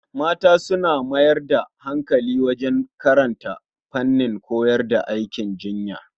Mata su mayar da hankali wajen karanta fannin koyar da aikin jinya.